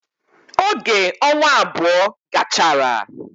Oge onwa abou gachara